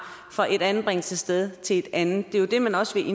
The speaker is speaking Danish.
fra et anbringelsessted til et andet det er det man også vil give